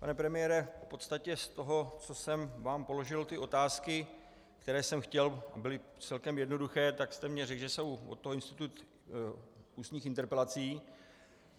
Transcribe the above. Pane premiére, v podstatě z toho, co jsem vám položil, ty otázky, které jsem chtěl, byly celkem jednoduché, tak jste mi řekl, že je od toho institut ústních interpelací.